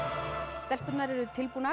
stelpurnar eru tilbúnar